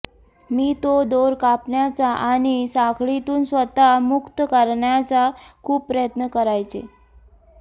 मी तो दोर कापण्याचा आणि साखळीतून स्वतःला मुक्त करण्याचा खूप प्रयत्न करायचे